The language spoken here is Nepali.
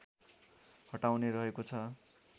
हटाउने रहेको छ